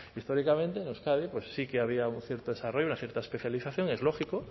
históricamente en euskadi sí que había un cierto desarrollo una cierta especialización es lógico